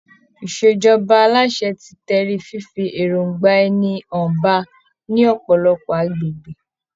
ìṣèjọba aláṣẹ ti tẹrí fífi èròngbà ẹni hàn ba ní ọ̀pọ̀lọpọ̀ agbègbè.